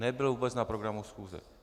Nebyl vůbec na programu schůze.